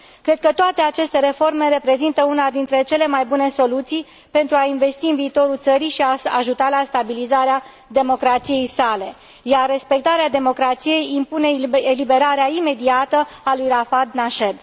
Cred că toate aceste reforme reprezintă una dintre cele mai bune soluții pentru a investi în viitorul țării și a ajuta la stabilizarea democrației sale, iar respectarea democrației impune eliberarea imediată a lui Rafah Nached.